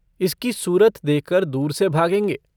इसकी सूरत देखकर दूर से भागेंगे।